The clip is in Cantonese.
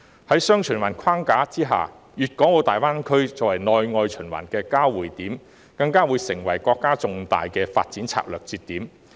在"雙循環"的框架下，粤港澳大灣區作為內外循環的交匯點，更會成為國家的重大發展策略節點。